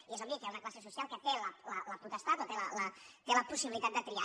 i és obvi que hi ha una classe social que té la potestat o té la possibilitat de triar